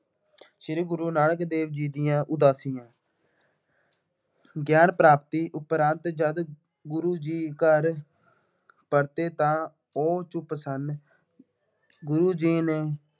ਸ਼੍ਰੀ ਗੁਰੂ ਨਾਨਕ ਦੇਵ ਜੀ ਦੀਆਂ ਉਦਾਸੀਆਂ। ਗਿਆਨ ਪ੍ਰਾਪਤੀ ਉਪਰੰਤ ਜਦ ਗੁਰੂ ਜੀ ਘਰ ਪਰਤੇ ਤਾਂ ਉਹ ਚੁੱਪ ਸਨ। ਗੁਰੂ ਜੀ ਨੇ